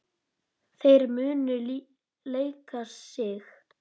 Þær munu leika sig.